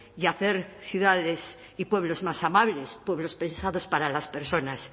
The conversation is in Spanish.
y hacer ciudades y pueblos más amables pueblos pensados para las personas